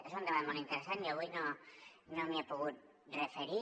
és un debat molt interessant jo avui no m’hi he pogut referir